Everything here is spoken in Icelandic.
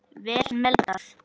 Vel meldað.